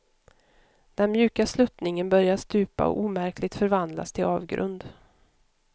Den mjuka sluttningen börjar stupa och omärkligt förvandlas till avgrund.